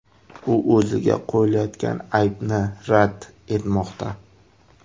U o‘ziga qo‘yilayotgan aybni rad etmoqda.